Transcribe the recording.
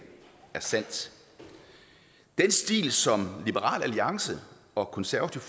er sandt den stil som liberal alliance og konservative